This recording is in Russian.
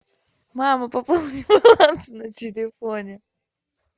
мама пополни баланс на телефоне